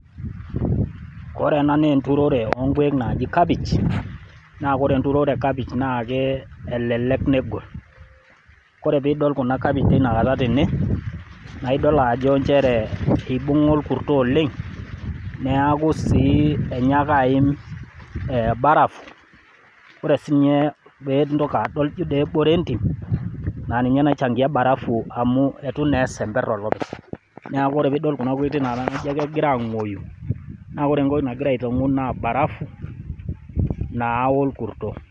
Ore ena naa enturore onkuek naaji kapich, naa ore enturore e kapich naa elelek negol. Kore pee idol kuna kapichi tenekata tene, naa idol ajo njere eibung'a olkurto oleng, neaku sii enyaaka aim barafu ore sii pee intoki adol, jo dii kebore entim naa ninye naichangia barafu amu eitu naa esember olopeny. Neaku ore pee idol enaoitoi naake kegira aang'uoi naa ore entoki nagira aitang'u naa barafu naa olkurto.